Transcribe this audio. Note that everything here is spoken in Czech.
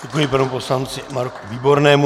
Děkuji panu poslanci Marku Výbornému.